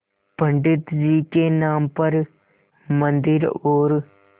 पंडित जी के नाम पर मन्दिर और